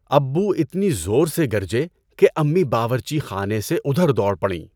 ابّو اتنی زور سے گرجے کہ امی باورچی خانے سے ادھر دوڑ پڑیں!